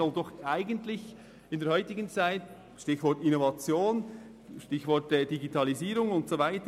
Gerade heute muss sich die Universität grossen Herausforderungen stellen – Stichwort Innovation, Digitalisierung und so weiter.